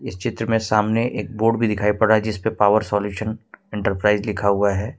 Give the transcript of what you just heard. इस चित्र में सामने एक बोर्ड भी दिखाई पड़ रहा है जिस पर पॉवर सॉल्यूशन एंटरप्राइज़ लिखा हुआ हैं।